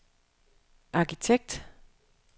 arkitekt